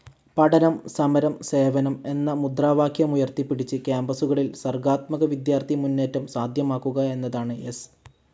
പഠനം, സമരം, സേവനം എന്ന മുദ്രാവാക്യമുയർത്തിപ്പിടിച്ച് കാമ്പസുകളിൽ സർഗാത്മക വിദ്യാർഥി മുന്നേറ്റം സാധ്യമാക്കുക എന്നതാണ് എസ്.